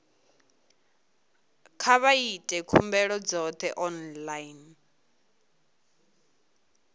kha vha ite khumbelo dzoṱhe online